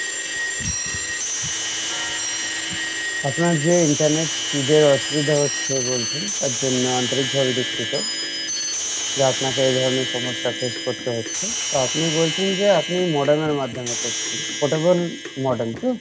আপনার যে internet speed এর অসুবিধা হচ্ছে বলছেন তার জন্য আন্তরিক ভাবে দুঃখিত বা আপনাকে এই ধরণের সমস্যা face করতে হচ্ছে আর আপনি বলছেন যে আপনি modem এর মাধ্যমে করছেন portable modem তো?